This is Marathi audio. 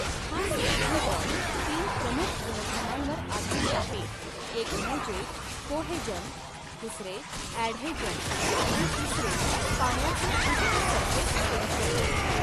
हा सिद्धांत तीन प्रमुख गुणधर्मांवर आधारित आहे एक म्हणजे कोहेजन दुसरे ॲढेजन आणि तिसरे पाण्याचे उच्च सरफेस टेंशन.